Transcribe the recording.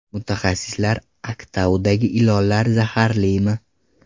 Mutaxassislar Aktaudagi ilonlar zaharlimi?